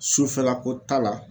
Sufɛla ko ta la